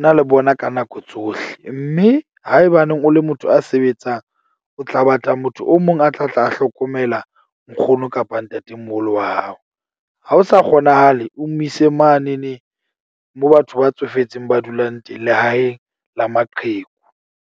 na le bona ka nako tsohle. Mme haebaneng o le motho ya sebetsang, o tla batla motho o mong a tla tla a hlokomela nkgono kapa ntatemoholo wa hao. Ha ho sa kgonahale, o mo ise mane ne mo batho ba tsofetseng ba dulang teng lehaeng la maqheku.